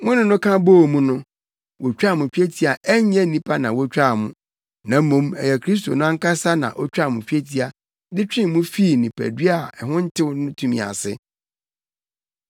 Mo ne no ka bɔɔ mu no, wotwaa mo twetia a ɛnyɛ nnipa na wotwaa mo, na mmom ɛyɛ Kristo no ankasa na otwaa mo twetia de twee mo fii nipadua a ɛho ntew no tumi ase.